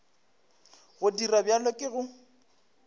go dira bjalo ke go